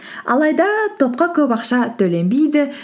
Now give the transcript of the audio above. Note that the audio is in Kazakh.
алайда топқа көп ақша төленбейді